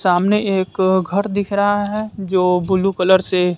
सामने एक घर दिख रहा है जो ब्लू कलर से--